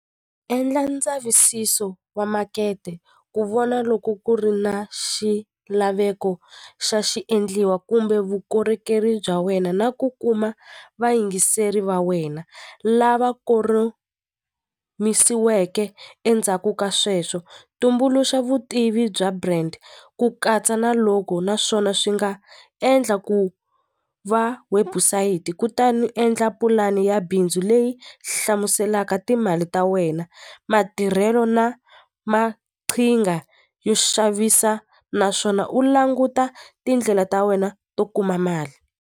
Endla ndzavisiso wa makete ku vona loko ku ri na xilaveko xa xi endliwa kumbe vukorhokeri bya wena na ku kuma vayingiseri va wena lava endzhaku ka sweswo tumbuluxa vutivi bya brand ku katsa na loko naswona swi nga endla ku va website kutani endla pulani ni ya bindzu leyi hlamuselaka timali ta wena matirhelo na maqhinga yo xavisa naswona u languta tindlela ta wena to kuma mali.